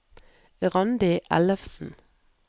Randi Ellefsen